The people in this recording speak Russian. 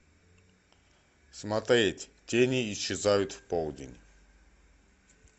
смотреть тени исчезают в полдень